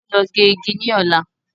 Á ó lọ gé igi ní Ọ̀la.